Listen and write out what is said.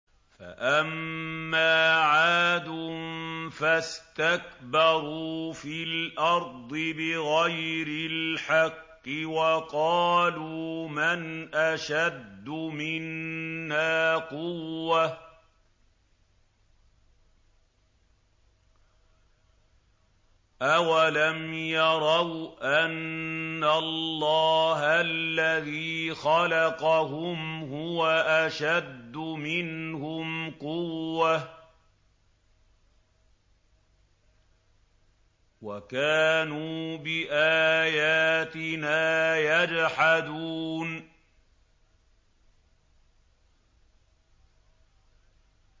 فَأَمَّا عَادٌ فَاسْتَكْبَرُوا فِي الْأَرْضِ بِغَيْرِ الْحَقِّ وَقَالُوا مَنْ أَشَدُّ مِنَّا قُوَّةً ۖ أَوَلَمْ يَرَوْا أَنَّ اللَّهَ الَّذِي خَلَقَهُمْ هُوَ أَشَدُّ مِنْهُمْ قُوَّةً ۖ وَكَانُوا بِآيَاتِنَا يَجْحَدُونَ